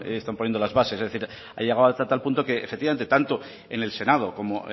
están poniendo las bases es decir ha llegado hasta tal punto que efectivamente tanto en el senado como